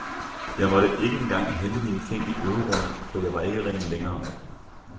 Jeg måtte ikke engang hente mine ting i øverummet for jeg var ikke ren længere.